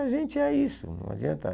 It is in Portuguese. A gente é isso, não adianta.